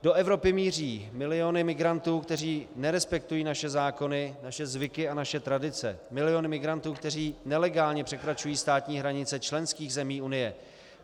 Do Evropy míří miliony migrantů, kteří nerespektují naše zákony, naše zvyky a naše tradice, miliony migrantů, kteří nelegálně překračují státní hranice členských zemí Unie.